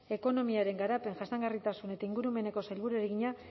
ekonomiaren garapen jasangarritasun eta ingurumeneko sailburuari egina